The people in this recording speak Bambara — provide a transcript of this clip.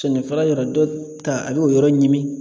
Sennifara yɔrɔ, dɔw ta, a b'o yɔrɔ ɲimi.